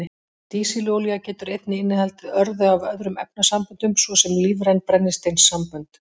Dísilolía getur einnig innihaldið örðu af öðrum efnasamböndum, svo sem lífræn brennisteinssambönd.